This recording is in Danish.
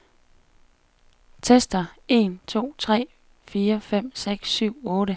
Tester en to tre fire fem seks syv otte.